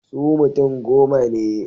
Su mutum goma ne.